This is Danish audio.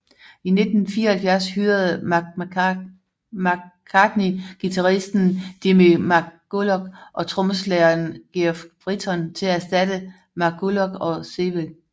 I 1974 hyrede McCartney guitaristen Jimmy McCulloch og trommeslageren Geoff Britton til at erstatte McCullough og Seiwell